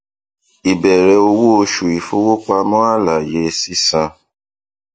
ìbẹrẹ owó oṣù ìfowópamọ àlàyé sísan